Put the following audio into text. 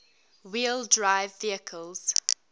wheel drive vehicles